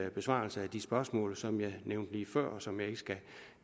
en besvarelse af de spørgsmål som jeg nævnte lige før og som jeg ikke skal